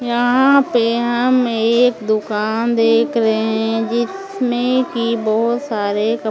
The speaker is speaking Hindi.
यहाँ पे हम एक दुकान देख रहे हैं जिसमें कि बहुत सारे कप --